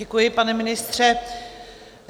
Děkuji, pane ministře.